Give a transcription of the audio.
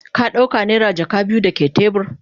Ka dauka naira jaka biyu dake tebur?